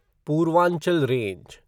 Purvanchal range